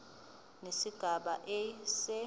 nesigaba a se